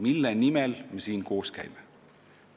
Mille nimel me siin koos käime?